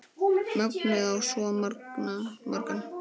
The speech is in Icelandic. Mögnuð á svo margan hátt.